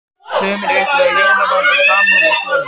Sumir upplifa hjónaband og sambúð sem kvöð.